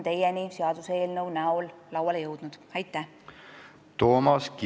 Toomas Kivimägi, palun!